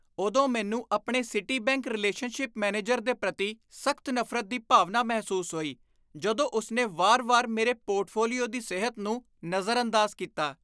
ਉਦੋਂ ਮੈਨੂੰ ਆਪਣੇ ਸਿਟੀਬੈਂਕ ਰਿਲੇਸ਼ਨਸ਼ਿਪ ਮੈਨੇਜਰ ਦੇ ਪ੍ਰਤੀ ਸਖ਼ਤ ਨਫ਼ਰਤ ਦੀ ਭਾਵਨਾ ਮਹਿਸੂਸ ਹੋਈ ਜਦੋਂ ਉਸਨੇ ਵਾਰ ਵਾਰ ਮੇਰੇ ਪੋਰਟਫੋਲੀਓ ਦੀ ਸਿਹਤ ਨੂੰ ਨਜ਼ਰਅੰਦਾਜ਼ ਕੀਤਾ